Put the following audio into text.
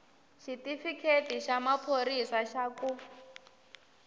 xitifiketi xa maphorisa xa ku